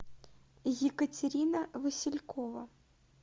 екатерина василькова